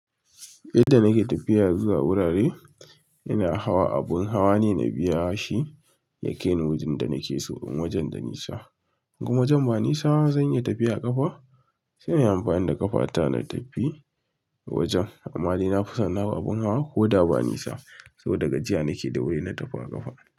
Yanda nake tafiya zuwa wurare, ina hawa abun hawa ne na biya shi ya kai ni wajen da nake so in wajen da nisa. In wajen ba nisa zan iya tafiya a ƙafa sai in yi amfani da ƙafa ta na tafi wajen. Amma dai na fi son na hau abun hawa koda ba nisa saboda gajiya nake da wuri na tafi a ƙafa.